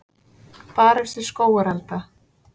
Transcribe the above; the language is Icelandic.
Barist við skógarelda